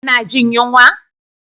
Kuna jin yunwa?